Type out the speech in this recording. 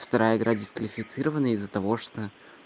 вторая игра дисквалифицирована из-за того что